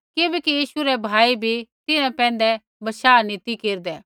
किबैकि यीशु रै भाई भी तिन्हां पैंधै बशाह नी ती केरदै